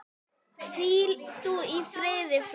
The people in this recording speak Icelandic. Hvíl þú í friði frændi.